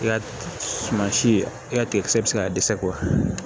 I ka suma si i ka tiga kisɛ bɛ se ka dɛsɛ kɔ